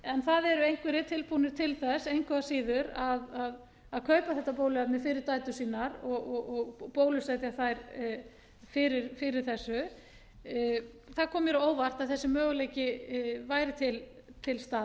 en það eru einhverjir tilbúnir til þess engu að síður að kaupa þetta bóluefni fyrir dætur sínar og bólusetja þær fyrir þessu það koma mér á óvart að þessi möguleiki væri til